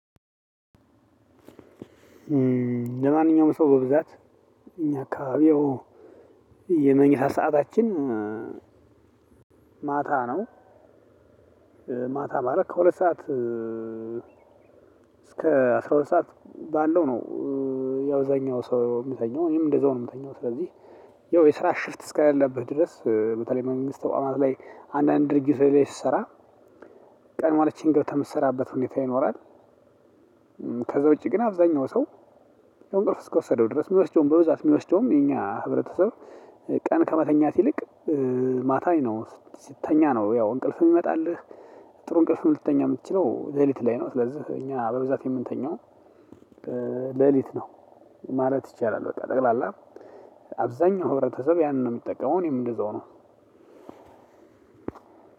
ለማንኛውም ሰው በብዛት እኛ አካባቢ ያው የምኝታ ሰዓታችን ማታ ነው። ማታ ማለት ከሁለት ሰዓት እስከ አስራ ሁለት ሰዓት ባለው ነው። ያው እዛኛው ሰው ሚተኛው እኔም እንደዛው ነው ምተኛው ስለዚህ ያው የስራ ሽፍት እስከለለበት ድረስ በተለይ መንግስት ተቋማት ላይ አንዳንድ ድርጅቶች ላይ ስሰራ ቀድማ ገብታ ምሰራበት ሁኔታ ይኖራል እእእ ከዛ ውጭ ግን አብዛኛው ሰው እንቅልፍ እስከወሰደው ድረስ ሚወስደው በብዛት ሚወስደዉም የኛ ህብረተሰብ ቀን ከመተኛት ይልቅ ማታ ነው ሲተኛ ነው ያው እንቅልፍ ሚመጣልህ ጥሩ እንቅልፍ ልተኛ ምትችለው ለሊት ላይ ነው ስለዚህ እኛ በብዛት የምንተኛው ለሊት ነው። ማለት ይቻላል። በቃ ጠቅላላ አብዛኛው ህብረተሰብ ያንን ነው የሚጠቀመው እኔም እንደዛው ነው።